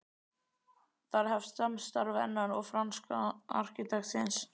Þar hefst samstarf hennar og franska arkitektsins